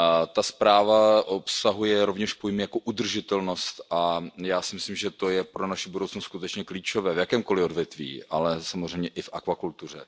Ta zpráva obsahuje rovněž pojem jako udržitelnost a já si myslím, že to je pro naši budoucnost skutečně klíčové v jakémkoli odvětví, ale samozřejmě i v akvakultuře.